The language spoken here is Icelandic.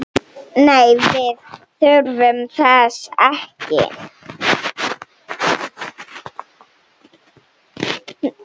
Nei, við þurfum þess ekki.